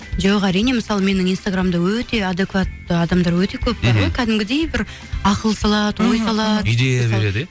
жоқ әрине мысалы менің инстаграмымда өте адекватты адамдар өте көп бар ғой кәдімгідей бір ақыл салады ой салады идея береді иә